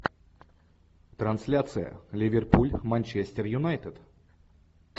трансляция ливерпуль манчестер юнайтед